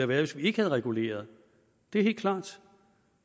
været hvis vi ikke havde reguleret det er helt klart